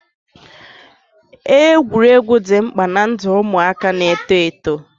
Egwuregwu dị mkpa ná ndụ ụmụaka na eto eto